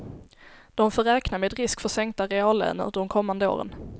De får räkna med risk för sänkta reallöner de kommande åren.